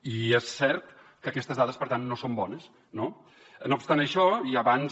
i és cert que aquestes dades per tant no són bones no no obstant això i abans